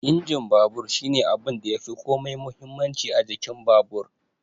Injin babur shine abunda yafi komai muhimmanci a jikin babur